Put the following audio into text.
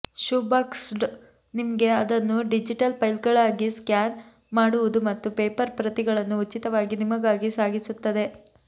shoeboxed ನಿಮಗೆ ಅದನ್ನು digital ಫೈಲ್ಗಳಾಗಿ ಸ್ಕ್ಯಾನ್ ಮಾಡುವುದು ಮತ್ತು ಪೇಪರ್ ಪ್ರತಿಗಳನ್ನು ಉಚಿತವಾಗಿ ನಿಮಗಾಗಿ ಸಾಗಿಸುತ್ತದೆ